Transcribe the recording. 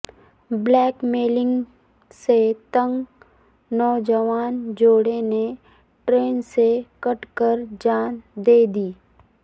black mailing سے تنگ نوجوان جوڑےنے ٹرین سے کٹ کر جان دیدی